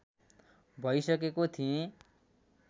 भइसकेको थिएँ